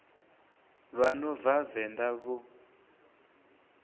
vha no bva venḓa vho